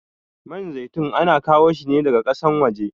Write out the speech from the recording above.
Man zaitun ana kawo shine daga kasan waje